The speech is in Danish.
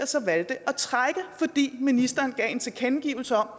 så har valgt at trække fordi ministeren har givet en tilkendegivelse om